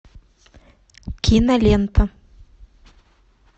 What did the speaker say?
кинолента